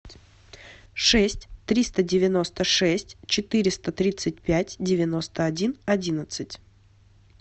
шесть триста девяносто шесть четыреста тридцать пять девяносто один одиннадцать